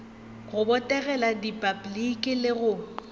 go botegela repabliki le go